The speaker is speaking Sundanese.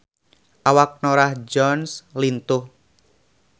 Awak Norah Jones lintuh